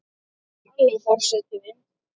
Halló forseti minn!